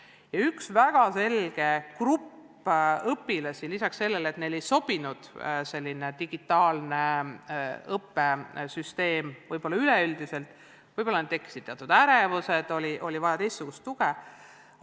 Eristus üks väga selge grupp õpilasi, kellele selline digitaalne õppesüsteem üldiselt ei sobinud ja kellel tekkis võib-olla ka teatud ärevus, neil oli vaja teistsugust tuge.